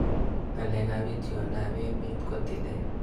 Ng'alek ab itiondo ab emet ko tilet